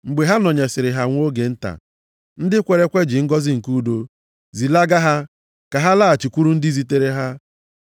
Mgbe ha nọnyesịrị ha nwa oge nta, ndị kwere ekwe ji ngọzị nke udo zilaga ha ka ha laghachikwuru ndị zitere ha.